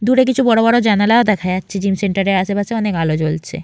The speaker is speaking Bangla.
দূরে কিছু বড়বড় জানালা দেখা যাচ্ছে জিম সেন্টার এর আশেপাশে অনেক আলো জ্বলছে।